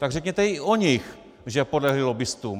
Tak řekněte i o nich, že podlehli lobbistům.